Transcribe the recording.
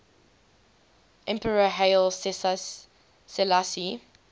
emperor haile selassie